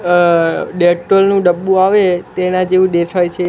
Dettol નુ ડબ્બુ આવે તેના જેવુ દેખાય છે.